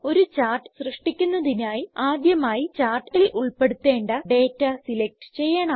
ഒരു ചാർട്ട് സൃഷ്ടിക്കുന്നതിനായി ആദ്യമായി ചാർട്ടിൽ ഉൾപ്പെടുത്തേണ്ട ഡേറ്റ സിലക്റ്റ് ചെയ്യണം